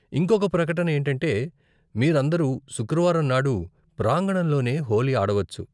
ఇంకొక ప్రకటన ఏంటంటే, మీరందరూ శుక్రవారం నాడు ప్రాంగణంలోనే హోళీ ఆడవచ్చు.